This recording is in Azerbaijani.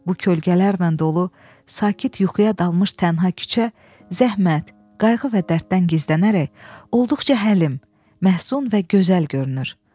Bu kölgələrlə dolu, sakit yuxuya dalmış tənha küçə zəhmət, qayğı və dərddən gizlənərək olduqca həlim, məhsul və gözəl görünür.